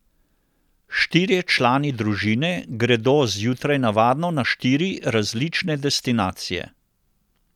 Štirje člani družine gredo zjutraj navadno na štiri različne destinacije.